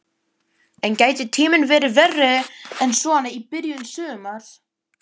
En gæti tíminn verið verri en svona í byrjun sumars?